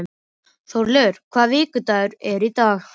Þórleifur, hvaða vikudagur er í dag?